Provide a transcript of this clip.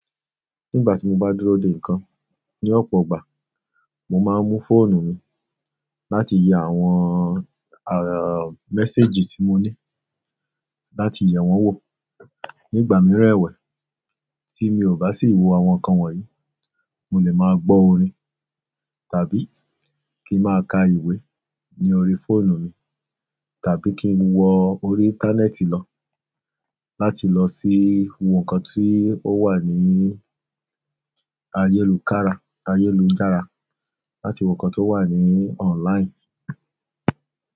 Nígbà tí mo bá dúró de nǹkan ní ọ̀pọ̀ ọgbà, mo máa ń mú fóònù mi láti yẹ àwọn ara- méséjì tí mo ní láti yẹ wọ́n wò. Nígbà mìíràn ẹ̀wẹ̀, tí mi ò bá sì wò àwọn nǹkan wọ̀nyí, mo lè máa gbọ́ orin tàbí kí máa ka ìwé ní orí fóònù mi, tàbí kí n wọ orí íńtánẹ́ẹ̀tì lọ láti lọ sí ń wo nǹkan tí ó wà ní ayélujára, láti wo nǹkan tó wà ní ọ̀nláìǹ.